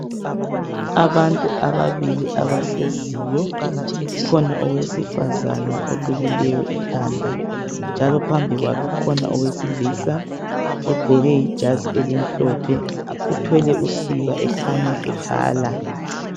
Abantu ababili abahleziyo, kukhona owesifazana olukileyo ikhanda, njalo phambi kwakhe ukhona owesilisa ogqoke ijazi elimhlophe. Uthwele usiba ekhanya ebhala.